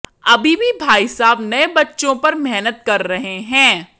अभी भी भाई साहब नए बच्चों पर मेहनत कर रहे हैं